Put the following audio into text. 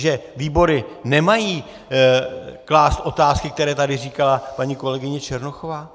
Že výbory nemají klást otázky, které tady říkala paní kolegyně Černochová?